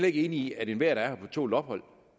ikke enige i at enhver der er her på tålt ophold